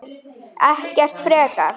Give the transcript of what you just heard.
Ekkert frekar.